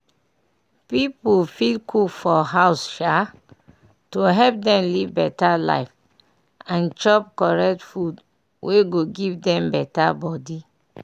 pipu fit cook for house um to help dem live better life and chop correct food wey go give dem better body